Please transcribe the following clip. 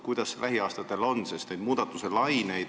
Kuidas on lähiaastatega?